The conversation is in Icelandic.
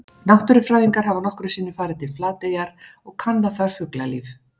Náttúrufræðingar hafa nokkrum sinnum farið til Flateyjar og kannað þar fuglalíf.